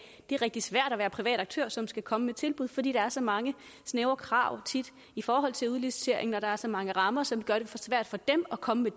det er rigtig svært at være en privat aktør som skal komme med tilbud fordi der tit er så mange snævre krav i forhold til udliciteringen og der er så mange rammer som gør det for svært for dem at komme med